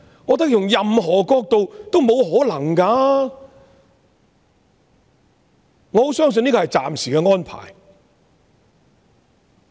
我覺得用任何角度來想也是不可能的，我很相信這是暫時的安排。